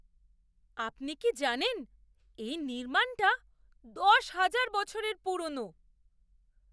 আপনি কি জানেন, এই নির্মাণটা দশহাজার বছরের পুরনো!